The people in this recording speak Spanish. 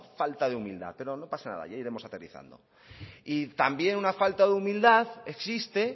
falta de humildad pero no pasa nada ya iremos aterrizando y también una falta de humildad existe